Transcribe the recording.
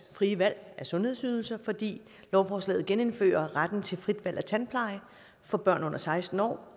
frie valg af sundhedsydelser fordi lovforslaget genindfører retten til fritvalg af tandpleje for børn under seksten år